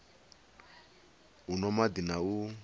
u nwa madi na u